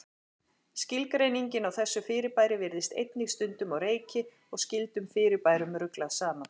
Skilgreiningin á þessu fyrirbæri virðist einnig stundum á reiki og skyldum fyrirbærum ruglað saman.